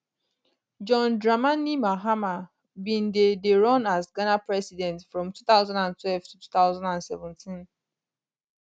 john dramani mahama bin dey dey run as ghana president from 2012 to 2017